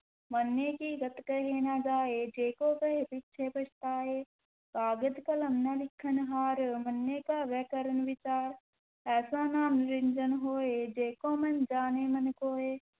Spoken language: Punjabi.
ਮੰਨੇ ਕੀ ਗਤਿ ਕਹੀ ਨਾ ਜਾਇ, ਜੇ ਕੋ ਕਹੈ ਪਿਛੈ ਪਛੁਤਾਇ, ਕਾਗਦਿ ਕਲਮ ਨ ਲਿਖਣਹਾਰੁ, ਮੰਨੇ ਕਾ ਬਹਿ ਕਰਨਿ ਵੀਚਾਰੁ, ਐਸਾ ਨਾਮੁ ਨਿਰੰਜਨੁ ਹੋਇ, ਜੇ ਕੋ ਮੰਨਿ ਜਾਣੈ ਮਨਿ ਕੋਇ।